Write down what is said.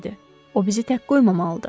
O bizi tək qoymamalıdır.